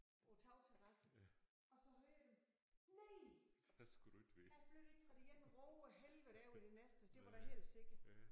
På tagterrassen og så hører jeg dem. Nej jeg flyttede ikke fra det ene rågehelvede over i det næste det var da helt sikkert